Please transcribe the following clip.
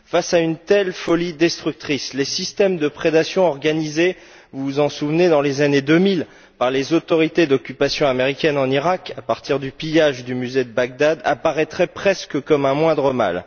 Face à une telle folie destructrice, les systèmes de prédation organisés souvenez vous dans les années 2000 par les autorités d'occupation américaine en Iraq, à partir du pillage du musée de Bagdad, apparaîtraient presque comme un moindre mal.